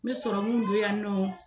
Me sɔrɔmu don yan nɔ.